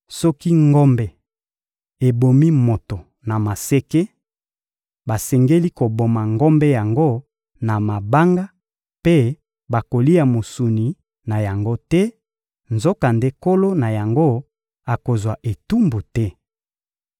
Soki ngombe ebomi moto na maseke, basengeli koboma ngombe yango na mabanga, mpe bakolia mosuni na yango te; nzokande nkolo na yango akozwa etumbu te.